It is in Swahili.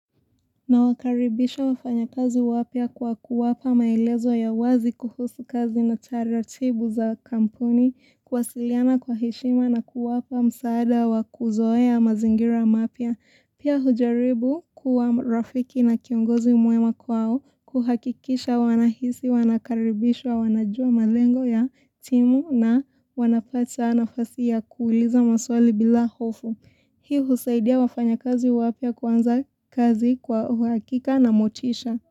Na wakaribisha wafanya kazi wapia kwa kuwapa maelezo ya wazi kuhusu kazi na tariatibu za kampuni, kuwasiliana kwa heshima na kuwapa msaada wa kuzoea ya mazingira mapia. Pia hujaribu kuwa rafiki na kiongozi mwema kwao kuhakikisha wanahisi, wanakaribishwa, wanajua malengo ya timu na wanapata nafasi kuuliza maswali bila hofu. Hii husaidia wafanya kazi wapia kwanza kazi kwa hakika na motisha.